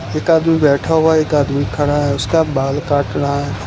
एक आदमी बैठा हुआ है एक आदमी खड़ा है उसका बाल काट रहा है।